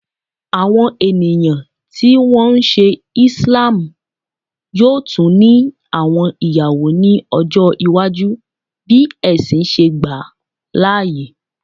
Awọn eniyan ti wọn nṣe Islam yoo tun ni awọn iyawo ni ọjọ iwaju bi ẹsin ṣe gba laaye